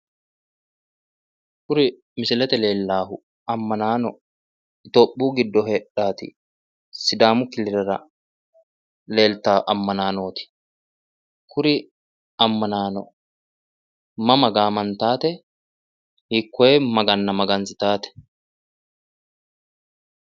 Kuri misilete leellawohu ammanaano itiyoophiyu giddo heedhawoti sidaamu killilera leeltawo ammanaanooti. Kuri ammanaano mama gaamantawote? hiikoye maganna magansidhawote?